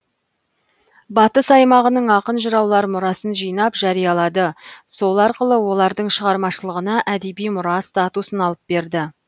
батыс аймағының ақын жыраулар мұрасын жинап жариялады сол арқылы олардың шығармашылығына әдеби мұра статусын алып берді